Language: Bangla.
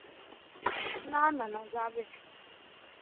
না না না না যাবে.